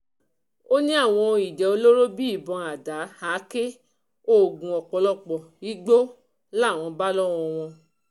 ó ní àwọn ohun ìjà olóró bíi ìbọn àda àáké oògùn ọ̀pọ̀lọpọ̀ igbó làwọn bá lọ́wọ́ wọn